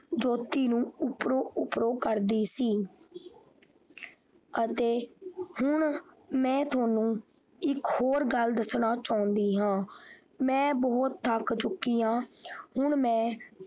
ਜੋ ਕਿ ਜੋਤੀ ਨੂੰ ਉੱਪਰੋਂ ਉੱਪਰੋਂ ਕਰਦੀ ਸੀ ਅਤੇ ਮੈਂ ਹੁਣ ਤੁਹਾਨੂੰ ਇੱਕ ਹੋਰ ਗੱਲ ਦੱਸਣਾ ਚਾਹੁੰਦੀ ਹਾਂ ਮੈਂ ਬਹੁਤ ਥੱਕ ਚੁੱਕੀ ਆਂ ਹੁਣ ਮੈਂ।